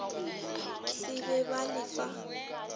se be ba le fa